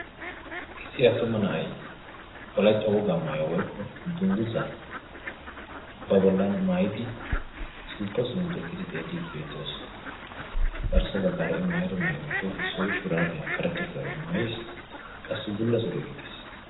issi attuma na'ay wolaytta wogaa maayuwaa woykko dunguzaa ba bollan maayidi sinttawu simmidi eqqidi xeellidi beettees. garssa baggaara i maayido maayuwaappe issoy shuraabiyaa karetta shuraabiyaa maayiisi qassikka bulla suriyaa gixxiis.